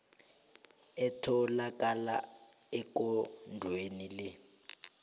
etholakala ekondlweni le